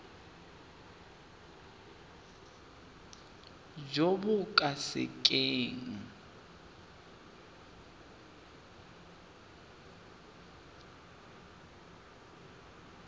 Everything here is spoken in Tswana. jo bo ka se keng